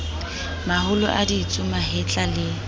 maholo a ditsu mahetla le